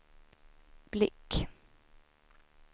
blick